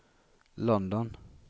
London